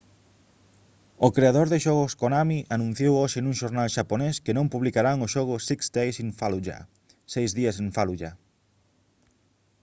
o creador de xogos konami anunciou hoxe nun xornal xaponés que non publicarán o xogo six days in fallujah seis días en fallujah